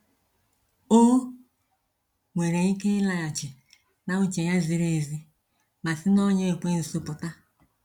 O nwere ike ịlaghachi na uche ya ziri ezi ma sị n'ọnya ekwensu pụta.